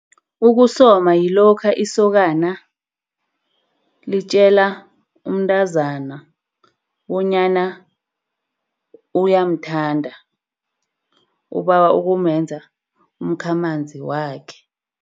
Ukusoma yilokha isokana litjela umntazana bonyana uyamthanda, ubawa kumenza umkhamanzi wakhe.